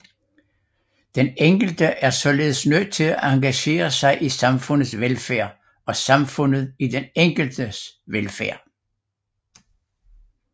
Den enkelte er således nødt til at engagere sig i samfundets velfærd og samfundet i den enkeltes velfærd